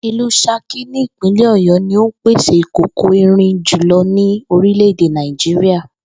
Ìlú S̩akí ní ìpínlè̩ Ò̩yó̩ ní ó ń pèsè ìkòkò irin jùlo̩ ní orílè̩-èdè Nàìjíríà